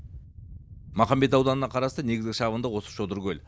махамбет ауданына қарасты негізгі шабындық осы шодыркөл